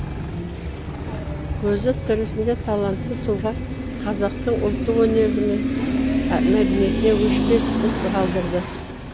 көзі тірісінде талантты тұлға қазақтың ұлттық өнері мен мәдениетіне өшпес із қалдырды